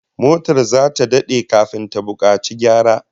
Motar zata dade kafin ta bukaci gyara